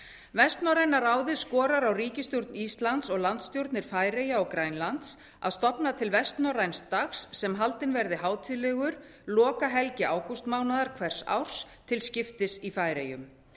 vestnorræna ráðið skorar á ríkisstjórn íslands og landsstjórnir færeyja og grænlands að stofna til vestnorræns dags sem haldinn verði hátíðlegur lokahelgi ágústmánaðar hvers árs til skiptis í færeyjum